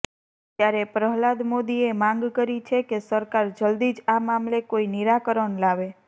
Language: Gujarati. ત્યારે પ્રહ્લાદ મોદીએ માંગ કરી છે કે સરકાર જલ્દી જ આ મામલે કોઇ નિરાકરણ લાવે